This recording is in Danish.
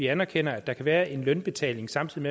anerkender at der kan være en lønudbetaling samtidig